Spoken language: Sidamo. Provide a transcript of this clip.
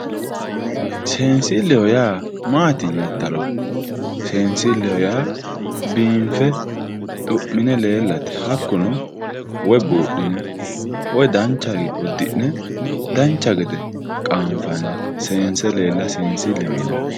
seensilleho yaa maati yiittaro seensilleho yaa biinfe xu'mine leellate hakkuno woy buudhine woy danchare uddi'ne dancha gede qaanfanni seense leella seensilleho yinanni.